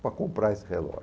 para comprar esse relógio.